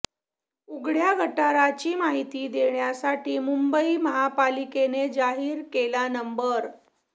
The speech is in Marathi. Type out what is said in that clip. उघड्या गटारांची माहिती देण्यासाठी मुंबई महापालिकेने जाहीर केला नंबर